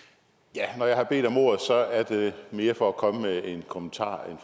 ja når jeg har bedt om ordet er det mere for at komme med en kommentar